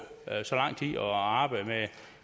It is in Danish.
så lang tid og arbejde med